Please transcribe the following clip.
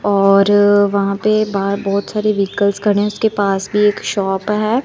और वहां पे बाहर बहुत सारी व्हीकल्स खड़े हैं उसके पास भी शॉप है।